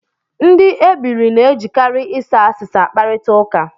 Ndị ebiri na-ejikarị ịsa asịsa akparịta ụka